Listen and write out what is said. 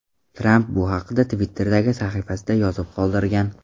Tramp bu haqda Twitter’dagi sahifasida yozib qoldirgan .